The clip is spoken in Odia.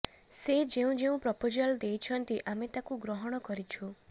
ସେ ଯେଉଁ ଯେଉଁ ପ୍ରପଜାଲ୍ ଦେଇଛନ୍ତି ଆମେ ତାକୁ ଗ୍ରହଣ କରିଛୁ